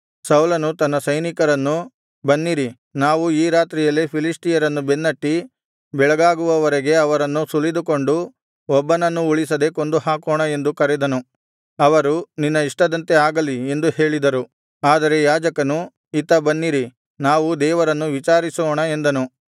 ಸೌಲನು ತನ್ನ ಸೈನಿಕರನ್ನು ಬನ್ನಿರಿ ನಾವು ಈ ರಾತ್ರಿಯಲ್ಲೇ ಫಿಲಿಷ್ಟಿಯರನ್ನು ಬೆನ್ನಟ್ಟಿ ಬೆಳಗಾಗುವವರೆಗೆ ಅವರನ್ನು ಸುಲಿದುಕೊಂಡು ಒಬ್ಬನನ್ನೂ ಉಳಿಸದೆ ಕೊಂದುಹಾಕೋಣ ಎಂದು ಕರೆದನು ಅವರು ನಿನ್ನ ಇಷ್ಟದಂತೆ ಆಗಲಿ ಎಂದು ಹೇಳಿದರು ಆದರೆ ಯಾಜಕನು ಇತ್ತ ಬನ್ನಿರಿ ನಾವು ದೇವರನ್ನು ವಿಚಾರಿಸೋಣ ಎಂದನು